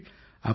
அப்புறம்